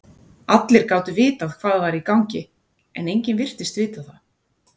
Allir gátu vitað hvað var í gangi, en enginn virtist vita það.